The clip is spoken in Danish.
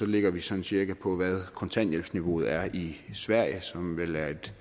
ligger vi sådan cirka på hvad kontanthjælpsniveauet er i sverige som vel er et